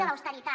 de l’austeritat